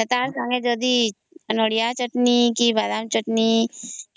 ଏତର ସଂଗେ ଯଦି ନଡ଼ିଆ ଚଟଣି କି ବାଦାମ ଚଟଣି